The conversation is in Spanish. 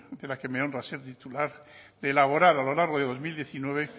de la que me honra ser titular de elaborar a lo largo de dos mil diecinueve